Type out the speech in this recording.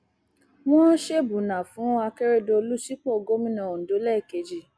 wọn ṣèbùnà fún akérèdọlù sípò gómìnà ondo lẹẹkejì